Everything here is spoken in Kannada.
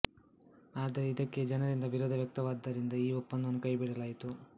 ಆದರೆ ಇದಕ್ಕೆ ಜನರಿಂದ ವಿರೋಧ ವ್ಯಕ್ತವಾದದ್ದರಿಂದ ಈ ಒಪ್ಪಂದವನ್ನು ಕೈಬಿಡಲಾಯಿತು